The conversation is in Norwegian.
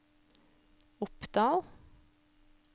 Oppdal